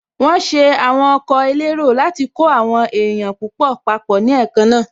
Wọ́n ṣe àwọn ọkọ̀ elérò láti kó àwọn èèyàn púpọ̀ papọ̀ ní èékánná